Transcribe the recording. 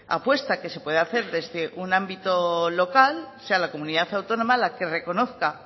apuesta que se puede hacer desde un ámbito local sea la comunidad autónoma la que reconozca